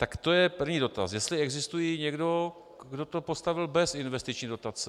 Tak to je první dotaz - jestli existuje někdo, kdo to postavil bez investiční dotace.